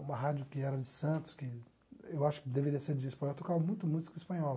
Uma rádio que era de Santos, que eu acho que deveria ser de Espanha, tocava muita música espanhola.